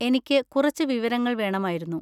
എനിക്ക് കുറച്ച് വിവരങ്ങൾ വേണമായിരുന്നു.